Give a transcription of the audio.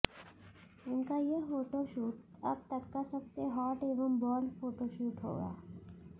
उनका ये फोटोशूट अब तक का सबसे हॉट एंड बोल्ड फोटोशूट है